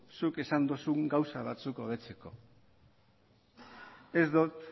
zuk esan duzun gauza batzuk hobetzeko ez dut